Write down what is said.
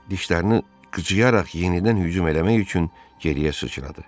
Dişlərini qıcıyaraq yenidən hücum eləmək üçün geriyə sıçradı.